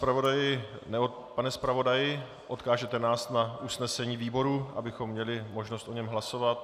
Pane zpravodaji, odkážete nás na usnesení výboru, abychom měli možnost o něm hlasovat?